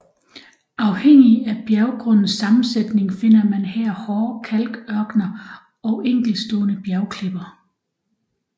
Afhængig af bjerggrundens sammensætning finder man her hårde kalkørkener og enkeltstående bjergklipper